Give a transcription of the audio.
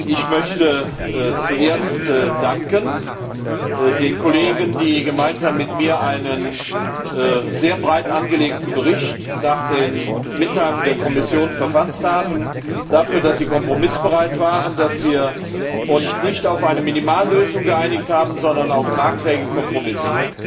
Ich möchte zuerst den Kollegen, die gemeinsam mit mir einen sehr breit angelegten Bericht nach den Mitteilungen der Kommission verfasst haben, dafür danken, dass sie kompromissbereit waren, dass wir uns nicht auf eine Minimallösung geeinigt haben, sondern auf tragfähige Kompromisse.